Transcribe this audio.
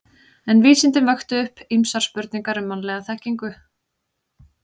En vísindin vöktu upp ýmsar spurningar um mannlega þekkingu.